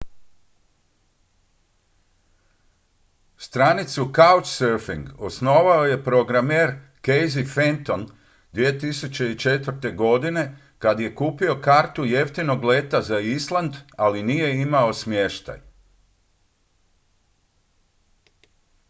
stranicu couchsurfing osnovao je programer casey fenton 2004. godine kad je kupio kartu jeftinog leta za island ali nije imao smještaj